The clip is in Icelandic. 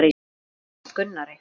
En hvað fannst Gunnari?